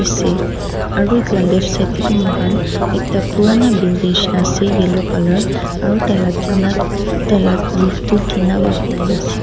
aru itu la left side tey bi moihan ekta purana ase yellow colour aru tai la tina taila roof tu tina para banai na ase.